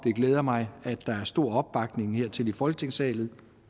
glæder mig at der er stor opbakning til det i folketingssalen